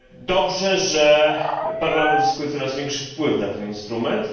Dobrze, że Parlament zyskuje coraz większy wpływ na ten instrument.